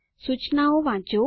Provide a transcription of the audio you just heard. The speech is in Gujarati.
સૂચનાઓ વાંચો